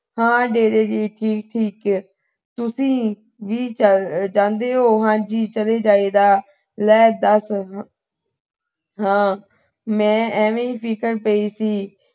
ਹਾਂ ਡੇਰੇ ਦੀ। ਠੀਕ, ਠੀਕ ਆ। ਤੁਸੀਂ ਜ ਅਹ ਜਾਂਦੇ ਓ। ਹਾਂ ਚਲੇ ਜਾਈ ਦਾ। ਲੈ ਦੱਸ। ਹਾਂ, ਮੈਂ ਐਵੇਂ ਹੀ ਫਿਕਰ ਪਈ ਸੀ।